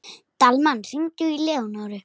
Dalmann, hringdu í Leónóru.